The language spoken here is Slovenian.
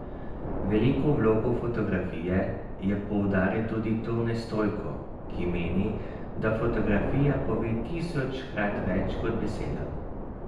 Veliko vlogo fotografije je poudaril tudi Tone Stojko, ki meni, da fotografija pove tisočkrat več kot beseda.